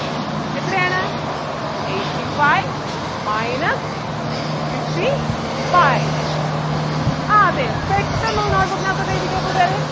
eighty-five minus fifty-five ആഹ് അതെ പെട്ടന്ന് ഒന്ന് note book നകത്തോട്ട് എഴുതിക്കേ കൂട്ടുകാരേ